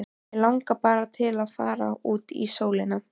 Mig langar bara til að fara út í sólina.